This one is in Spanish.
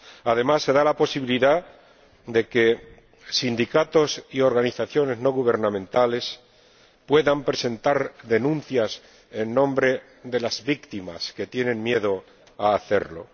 Además, se da la posibilidad de que sindicatos y organizaciones no gubernamentales puedan presentar denuncias en nombre de las víctimas que tienen miedo a hacerlo.